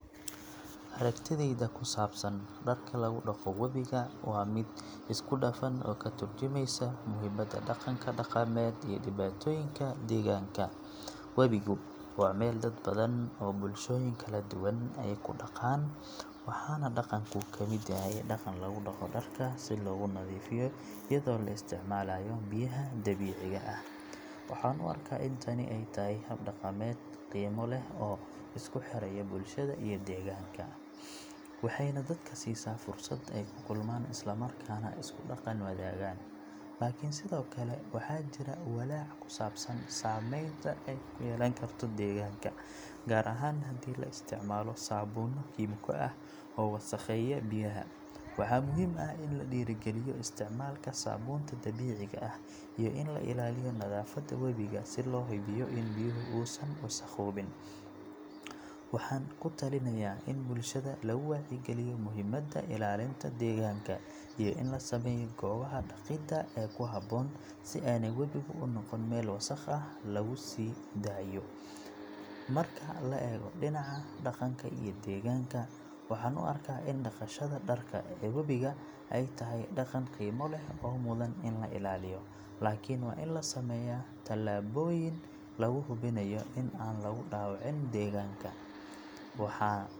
Aragtideyda ku saabsan dharka lagu dhaqo wabiga waa mid isku dhafan oo ka tarjumaysa muhiimadda dhaqanka dhaqameed iyo dhibaatooyinka deegaanka. Wabigu waa meel dad badan oo bulshooyin kala duwan ay ku dhaqaan, waxaana dhaqanku ka mid yahay dhaqan lagu dhaqo dharka si loogu nadiifiyo iyadoo la isticmaalayo biyaha dabiiciga ah. Waxaan u arkaa in tani ay tahay hab dhaqameed qiimo leh oo isku xiraya bulshada iyo deegaanka, waxayna dadka siisaa fursad ay ku kulmaan isla markaana isku dhaqan wadaagaan. Laakiin sidoo kale, waxaa jira walaac ku saabsan saamaynta ay ku yeelan karto deegaanka, gaar ahaan haddii la isticmaalo saabuunno kiimiko ah oo wasakheeya biyaha. Waxa muhiim ah in la dhiirrigeliyo isticmaalka saabuunta dabiiciga ah iyo in la ilaaliyo nadaafadda wabiga si loo hubiyo in biyuhu uusan wasakhoobin. Waxaan ku talinayaa in bulshada lagu wacyigeliyo muhiimadda ilaalinta deegaanka iyo in la sameeyo goobaha dhaqida ee ku habboon si aanay wabigu u noqon meel wasakh laga sii daayo. Marka la eego dhinaca dhaqanka iyo deegaanka, waxaan u arkaa in dhaqashada dharka ee wabiga ay tahay dhaqan qiimo leh oo mudan in la ilaaliyo, laakiin waa in la sameeyaa tallaabooyin lagu hubinayo in aan lagu dhaawacin deegaanka. Waxaa .